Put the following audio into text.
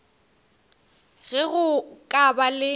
ge go ka ba le